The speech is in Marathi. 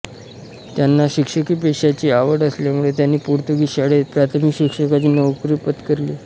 त्यांना शिक्षकी पेशाची आवड असल्यामुळे त्यांनी पोर्तुगीज शाळेत प्राथमिक शिक्षकाची नोकरी पत्करली